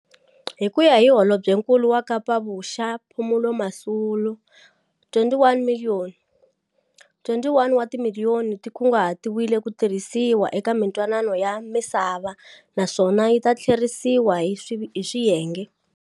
Hi ku ya hi Holobyenkulu wa Kapa-Vuxa Phumulo Masualle, R21 wa timiliyoni ti kunguhatiwe ku tirhisiwa eka mintwanano ya misava, naswona yi ta tlheriseriwa hi swiyenge.